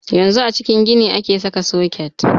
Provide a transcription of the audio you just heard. Yanzu a cikin gini ake saka soket.